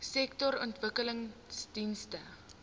sektorontwikkelingdienste